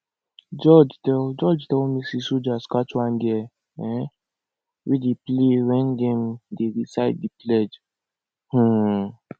jude tell jude tell me say soldiers catch one girl um wey dey play wen dem dey recite the pledge um